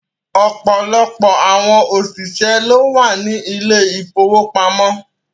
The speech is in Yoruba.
Ọ̀pọ̀lọpọ̀ àwọn òṣìṣẹ́ ló wà ní ilé ìfowópamọ́